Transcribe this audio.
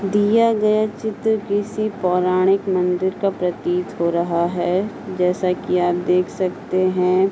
दिया गया चित्र किसी पौराणिक मंदिर का प्रतीत हो रहा है। जैसा कि आप देख सकते है।